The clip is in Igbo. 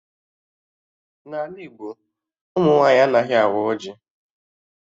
N'ala Igbo, ụmụ nwaanyị anaghị awa ọjị